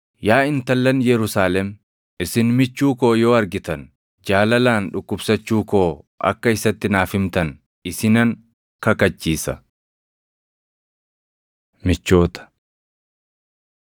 Yaa intallan Yerusaalem, isin michuun koo yoo argitan jaalalaan dhukkubsachuu koo akka isatti naaf himtan isinan kakachiisa. Michoota